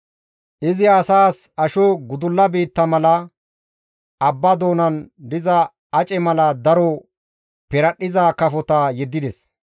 Izi asaas asho gudulla biitta mala, abba doonan diza ace mala daro piradhdhiza kafota yeddides.